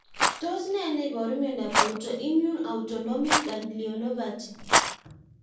Tos ne neiparu miondop autoimmune autonomic ganglionopathy?